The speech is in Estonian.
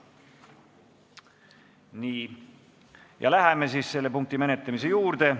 Nii, läheme selle punkti menetlemise juurde.